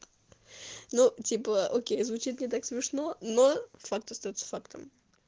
ну типа окей звучит не так смешно но факт остаётся фактом